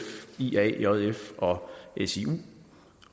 ia jf og siu